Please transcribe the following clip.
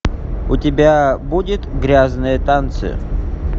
у тебя будет грязные танцы